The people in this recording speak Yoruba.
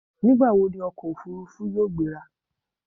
Nígbà wọ ni ọkọ̀ òfurufú yóò gbéra?